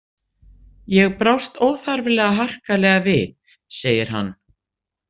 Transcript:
Ég brást óþarflega harkalega við, segir hann.